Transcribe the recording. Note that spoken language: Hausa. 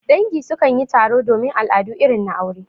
Dangi su kan yi taro domin al'adu irin na aure.